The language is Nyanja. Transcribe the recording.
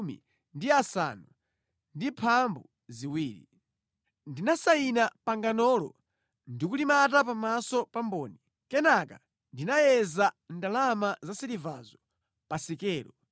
Ndinasayina panganolo ndikulimata pamaso pa mboni, kenaka ndinayeza ndalama zasilivazo pa sikelo.”